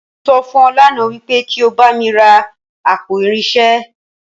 Mo sọ fún ọ lánàá wípé kí o bá mi ra àpò irinṣẹ́